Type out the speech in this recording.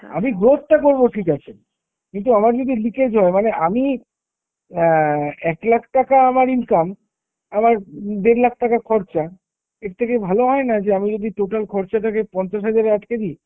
আমি growth টা করবো ঠিক আছে, কিন্তু আমার যদি leakage হয় মানে আমি অ্যাঁ একলাখ টাকা আমার income, আমার দেড়লাখ টাকা খরচা, এর থেকে ভালো হয় না যে আমি যদি total খরচাটাকে পঞ্চাশ হাজারে আটকে দিই।